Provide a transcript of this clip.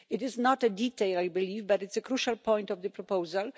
It is not a detail, I believe, but a crucial point of the proposal.